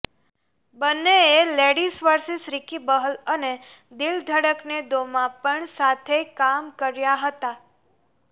બંનેએ ladies versus Ricky Bahl અને દિલ ધડકને દોમાં પણ સાથે કામ કર્યા હતા